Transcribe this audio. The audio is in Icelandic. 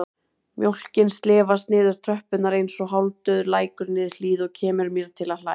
Mjólkin slefast niður tröppurnar einsog hálfdauður lækur niður hlíð og kemur mér til að hlæja.